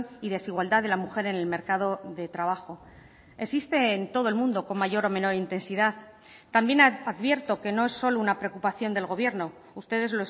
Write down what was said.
y desigualdad de la mujer en el mercado de trabajo existe en todo el mundo con mayor o menor intensidad también advierto que no es solo una preocupación del gobierno ustedes